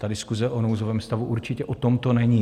Ta diskuze o nouzovém stavu určitě o tomto není.